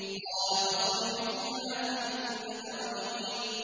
قَالَ فَاخْرُجْ مِنْهَا فَإِنَّكَ رَجِيمٌ